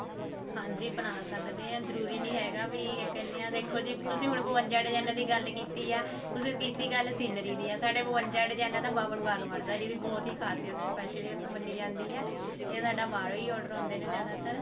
ਹਾਂਜੀ ਬਣਾ ਸਕਦੇ ਹਾਂ ਜਰੂਰੀ ਨੀ ਹੈਗਾ ਵੀ ਇਹ ਇੱਕਲਿਆਂ ਦੇਖੋ ਜੀ ਤੁਸੀਂ ਹੁਣ ਬਵੰਜਾ design ਦੀ ਗੱਲ ਕੀਤੀ ਤੁਸੀਂ ਕੀਤੀ ਗੱਲ scenery ਦੀ ਆ ਸਾਡੇ ਬਵੰਜਾ design ਦਾ ਬਾਵਨ ਬਾਗ ਬਣਦਾ ਜਿਹਦੀ ਬਹੁਤ ਹੀ ਖਾਸੀਅਤ special ਮੰਨੀ ਜਾਂਦੀ ਹੈ